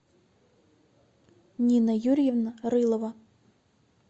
нина юрьевна рылова